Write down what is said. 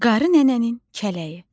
Qarı Nənənin Kələyi.